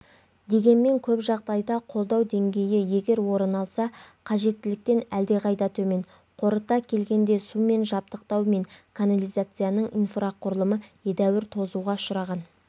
дегенмен көп жағдайда қолдау деңгейі егер орын алса қажеттіліктен әлдеқайда төмен қорыта келгенде сумен жабдықтау мен канализацияның инфрақұрылымы едәуір тозуға ұшыраған